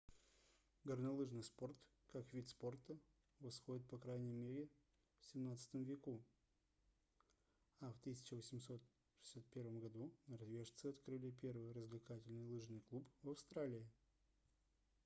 горнолыжный спорт как вид спорта восходит по крайней мере к xvii веку а в 1861 году норвежцы открыли первый развлекательный лыжный клуб в австралии